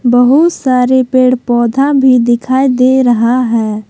बहुत सारे पेड़ पौधा भी दिखाई दे रहा है।